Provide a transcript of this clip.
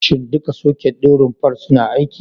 Shin duka soket ɗin rumfar suna aiki?